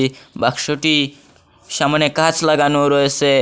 বাক্সটি সামনে কাঁচ লাগানো রয়েসে।